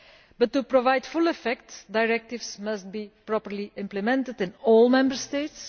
But to provide full effect, directives must be properly implemented in all Member States.